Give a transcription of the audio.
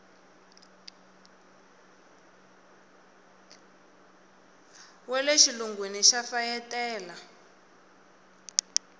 wa le xilungwini va fayetela